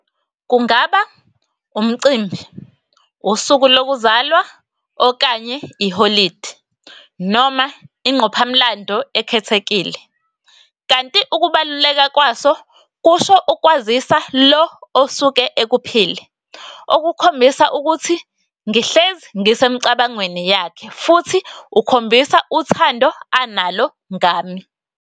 Kungaba umcimbi, usuku lokuzalwa, okanye iholidi, noma inqophamlando ekhethekile. Kanti ukubaluleka kwaso kusho ukwazisa lo osuke ekuphile, okukhombisa ukuthi ngihlezi ngisemcabangweni yakhe, futhi ukhombisa uthando analo ngami.